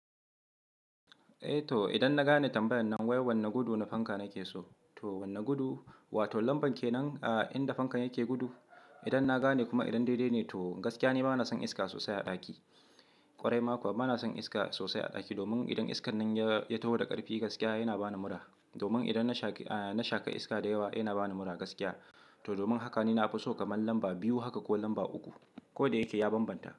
Eh to idan na gane tambayan nan wai wane gudu na fanka na ke so, to wane gudu? Wato lamban kenan inda fankan yake gudu? Idan na gane kuma idan daidai ne to gaskiya ni bana son iska sosai a daki. Kwarai ma kuwa bana son iska sosai a daki domin idan iskan nan ya ya taho da karfi gaskiya yana bani mura Domin idan na shaki iska da yawa yana bani mura gaskiya. Domin haka ni nafi so kamar lamba biyu haka ko lamba uku. Kodayake ya banbanta.